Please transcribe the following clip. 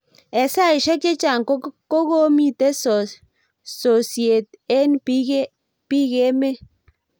eng saiseik chechang kokomita sosiet eng bik emeet